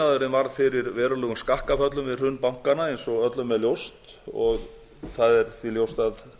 verktakaiðnaðurinn varð fyrir verulegum skakkaföllum við hrun bankanna eins og öllum er ljóst og það er því ljóst að